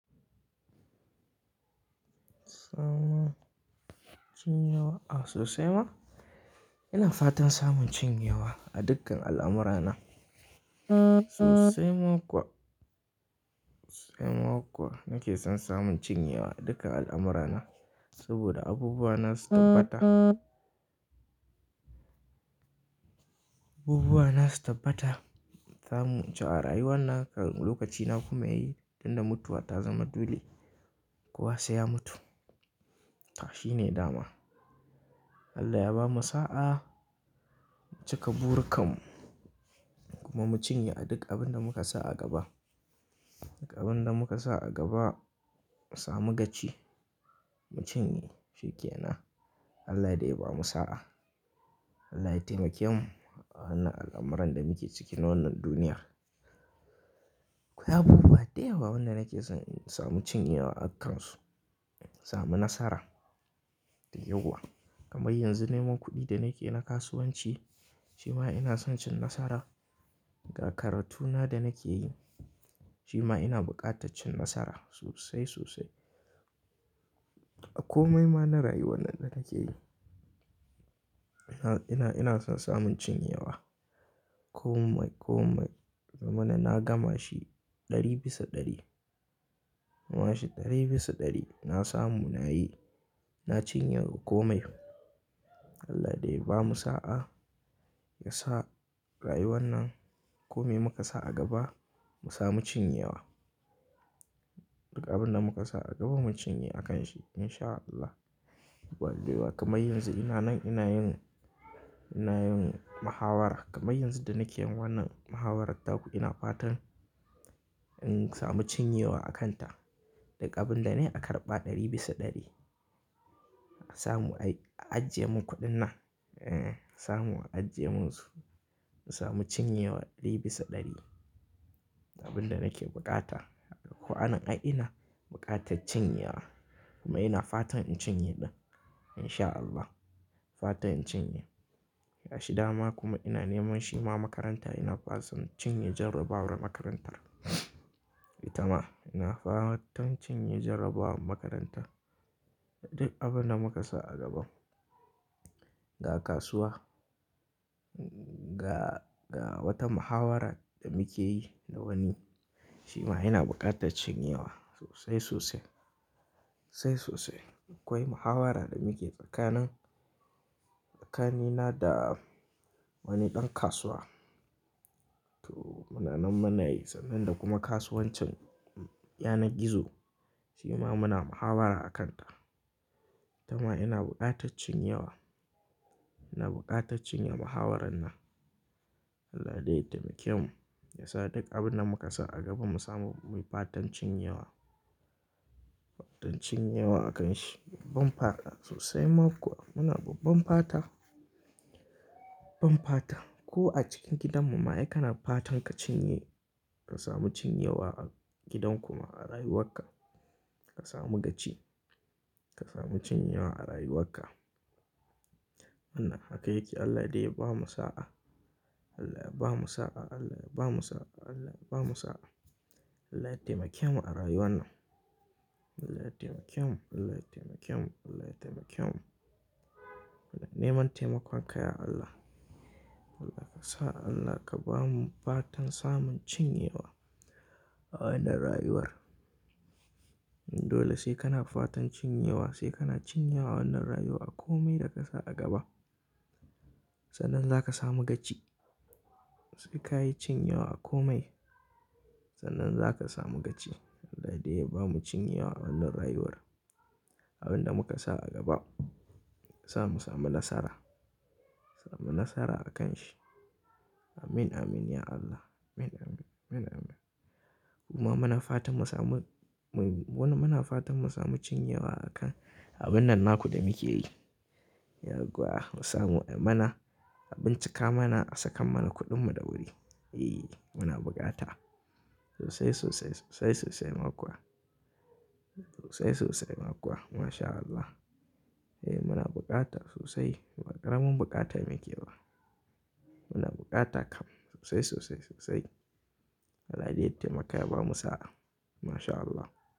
Samun cin yawa a sosai ma. Ina fatan samun cin yawa a dukkan al'amurana. Sosai ma kuwa, sosai ma kuwa nake son samun cin yawa a dukkan al'amurana saboda abubuwana su tabbata. Abubuwana su tabbata, zamu ci a rayuwanna lokaci na kuma ya yi tunda mutuwa ta zama dole kuwa sai ya mutu. Shi ne dama. Allah ya bamu sa'a mu cika burkan mu kuma mu cinye a duk abin da muka sa a gaba. Duka abin da muka sa a gaba mu samu gaci mu cinye shi ke nan. Allah dai ya bamu sa'a. Allah ya taimake mu a wannan al'amuran da muke ciki na wannan duniyar. Akwai abubuwa da yawa wanda nake son samun cin yawa akansu. Samun nasara dai yauwa. Kamar yanzu neman kuɗi da nake na kasuwanci shima ina son cin nasara. Ga karatuna da nake yi shima ina buƙataccin nasara sosai sosai. A komai ma na rayuwar da nake yi ina, ina, ina son samun cin yawa. Komai komai. Yazamana na gama shi ɗari bisa ɗari. Na gama shi ɗari bisa ɗari. Na samu na yi na cinye a komai. Allah dai ya bamu sa'a ya sa rayuwan nan kome muka sa a gaba mu samu cin yawa. Duka abin da muka sa a gaba mu cinye a kan shi in sha Allah. Allah dai ya bamu kamar yanzu ina nan ina yin, ina yin muhawara kamar yanzu da nake yi wannan muhawarar da ku ina fatan in samu cin yewa a kanta. Duka abin da ne a karɓa ɗari bisa ɗari. A samu ajiye mun kuɗin nan. Samu a ajiye mun su mu samu cin yawa ɗari bisa ɗari. Dukan abin da nake bukata. Duka ko anan ai ina bukata cin yawa kuma ina fatan in cinye ɗin in sha Allah. Fatan in cinye. Yashi dama kuma ina neman shima makaranta ina fatan cinye jarrabawar makarantar. Ita ma ina fatan cinye jarrabawar makarantar. Duk abin da muka sa a gaban. Ga kasuwa, ga, ga wata muhawara da muke yi da wani shima ina buƙatar cin yewa sosai sosai, sosai sosai. Akwai muhawara da muke tsakanin, tsakanina da wani ɗan kasuwa. To muna nan muna yi sannan da kuma kasuwancin, ya na gizo shima muna muhawara a kan ta. Ita ma ina buƙa taccin yewa. Ina buƙataccin ye muhawarar nan. Allah dai ya taimake mu ya sa duk abin da muka sa a gaba mu samu mai fatan cin yewa, fatan cin yawa a kan shi. Babban fata sosai ma kuwa muna babban fata, babban fata. Ko a cikin gidanmu ma, ai kana fatan ka cinye ka samu cin yawa a gidan kuma a rayuwarka ka samu gaci. Ka samu cin yawa a rayuwarka. Wannan haka yake. Allah dai ya bamu sa'a. Allah ya bamu sa'a. Allah ya bamu sa'a. Allah ya bamu sa'a. Allah ya taimake mu a rayuwan nan. Allah ya taimake mu. Allah ya taimake mu. Allah ya taimake mu. Neman taimakonka ya Allah. Allah ka sa Allah ka bamu fatan samun cin yewa a wannan rayuwar. Dole sai kana fatan cin yewa sai kana cin yewa wannan rayuwa kome da ka sa a gaba sannan za ka samu gaci. Sai ka yi cin yewa komai sannan za ka samu gaci. Allah dai ya bamu cin yewa a wannan rayuwar. Abin da muka sa a gaba sa mu samu nasara, samu nasara a kan shi. Amin, amin ya Allah. Amin, amin. Amin, amin. Kuma muna fatan mu samu wani muna fatan mu samu cin yewa a kan abin nan naku da muke yi. Ya gwaa mu samu ai mana abin cika mana a saka mana kuɗin mu da wuri. Eh muna bukata sosai sosai sosai sosai ma kuwa. Sosai sosai ma kuwa mashallah. Eh muna bukata sosai. Baƙaramin bukata muke ba. Muna bukata kam sosai sosai sosai. Allah dai ya taimaka ya bamu sa'a. Mashallah.